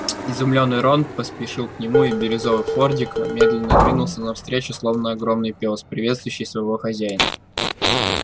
изумлённый рон поспешил к нему и бирюзовый фордик медленно двинулся навстречу словно огромный пёс приветствующий своего хозяина